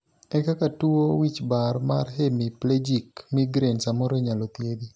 ere kaka tuo wichbar mar hemiplegic migraine samoro inyalo thiedhi?